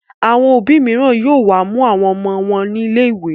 Àwọn òbí mìíràn yóò wá mú àwọn ọmọ wọn nílè ìwé.